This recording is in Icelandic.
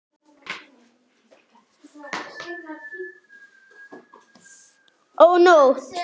Ó, nótt!